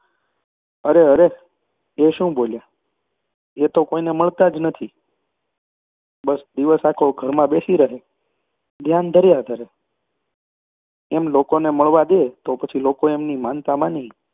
અરે! અરે! એ શું બોલ્યા! એ તો કોઈને મળતાં જ નથી. બસ દિવસ આખો ઘરમાં બેસી રહે અને ધ્યાન ધર્યા કરે. એમ લોકોને મળવા દે તો પછી લોકો એમની માનતા માની